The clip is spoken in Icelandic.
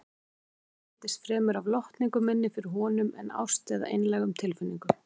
Samband okkar einkenndist fremur af lotningu minni fyrir honum en ást eða einlægum tilfinningum.